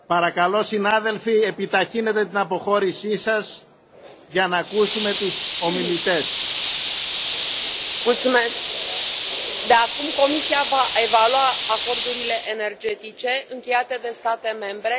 De acum Comisia va evalua acordurile energetice încheiate de state membre cu state terțe pentru petrol și gaze, dar acordurile pentru energie electrică vor fi evaluate tot după semnare,